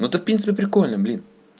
ну это в принципе прикольно блин